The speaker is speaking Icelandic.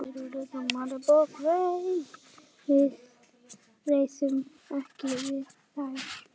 Við réðum ekkert við þær.